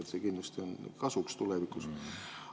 See on kindlasti kasuks tulevikus.